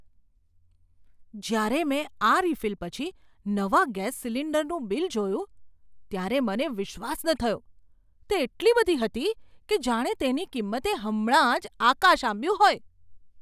જ્યારે મેં આ રિફિલ પછી નવા ગેસ સિલિન્ડરનું બિલ જોયું ત્યારે મને વિશ્વાસ ન થયો. તે એટલી બધી હતી કે જાણે તેની કિંમતે હમણાં જ આકાશ આંબ્યું હોય!